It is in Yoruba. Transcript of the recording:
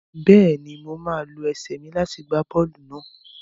Bẹ́ẹ̀ ni, màá lo ẹsẹ̀ mi láti gbá bọ́ọ́lù náà.